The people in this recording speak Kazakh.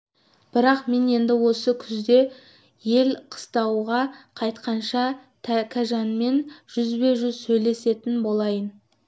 бірақ мен енді осы күзде ел қыстауға қайтқанша тәкежанмен жүзбе-жүз сөйлесетін болайын